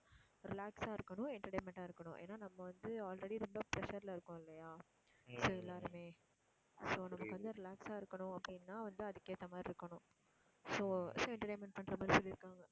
relax ஆ இருக்கணும் entertainment ஆ இருக்கணும் ஏன்னா நம்ம வந்து already ரொம்ப pressure ல இருக்கோம் இல்லையா so எல்லாருமே so நமக்கு வந்து relax ஆ இருக்கணும் அப்படின்னா வந்து அதுக்கு ஏத்த மாதிரி இருக்கணும் so entertainment பண்ற மாதிரி சொல்லி இருக்காங்க.